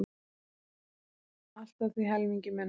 Allt að því helmingi minna.